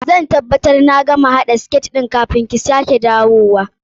Zan tabbabtar na gama haɗa siket ɗin kafin ki sake dawowa.